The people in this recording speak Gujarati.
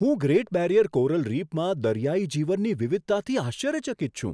હું ગ્રેટ બેરિયર કોરલ રીફમાં દરિયાઇ જીવનની વિવિધતાથી આશ્ચર્યચકિત છું.